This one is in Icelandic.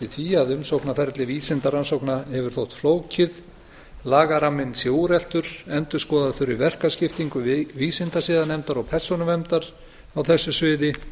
því að umsóknarferli vísindarannsókna hefur þótt flókið lagaramminn sé úreltur endurskoða þurfi verkaskiptingu vísindasiðanefndar og persónuverndar á þessu sviði